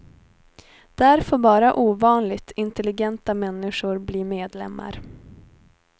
Där får bara ovanligt intelligenta människor bli medlemmar.